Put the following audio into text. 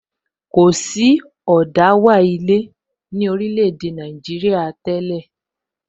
Kò sí ẹyin ilé ní orílè èdè Nàìjíríà tẹ́lẹ̀